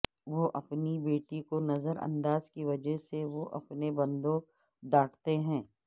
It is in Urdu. وہ اپنی بیٹی کو نظر انداز کی وجہ سے وہ اپنے بندوں ڈانٹتے